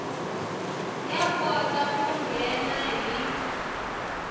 ya kota ku nghena hi